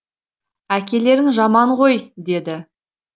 әкелерің жаман ғой деді